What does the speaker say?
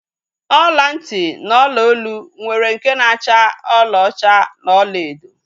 Ọla ntị na ọla olu nwere nke na-acha ọlaọcha na olaedo